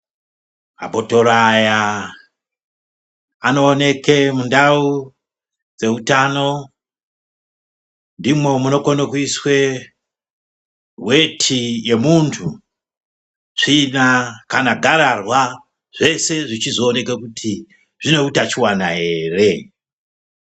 Mabhotoro aya anooneke mundau dzeutano. Ndimwo munokone kuiswe weti yemuntu, tsvina kana gararwa zvese zvichizooneke kuti zvine utachiwana here.